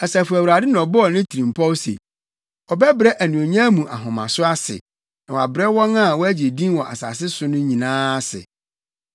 Asafo Awurade na ɔbɔɔ ne tirimpɔw se, ɔbɛbrɛ anuonyam mu ahomaso ase na wabrɛ wɔn a wɔagye din wɔ asase yi so nyinaa ase.